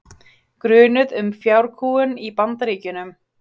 Grunuð um fjárkúgun í Bandaríkjunum